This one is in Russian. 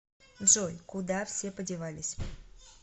джой куда все подевались